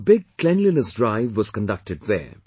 A big cleanliness drive was conducted there